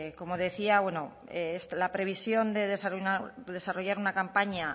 como decía la previsión de desarrollar una campaña